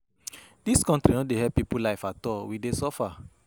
Dis country no dey help people life at all. We dey suffer.